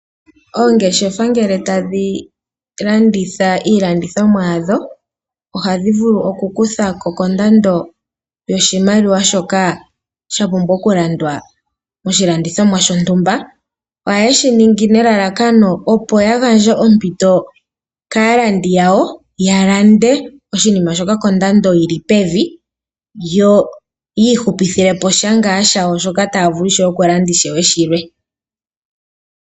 Oongeshefa ngele tadhi landitha iilandithomwa yadho oha dhi vulu oku kuthako kondando yoshimaliwa shoka sha pumbwa oku landwa oshilandithomwa shontumba. Ohaye shiningi nelalakano opo ya gandje ompito kaalandi yawo ya lande oshinima kondando yili pevi yo yiihupithile po sha ngaa shoka shayo taa vulu oku landa ishewe shilwe.